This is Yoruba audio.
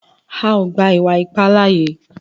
À o gba iwa-ipa láaye!